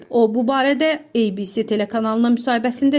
O, bu barədə ABC telekanalına müsahibəsində deyib.